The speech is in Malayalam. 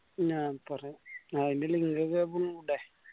ഞാൻ പറയാ അയ്യെന്നെല്ലേ നിങ്ങക്കൊക്കെ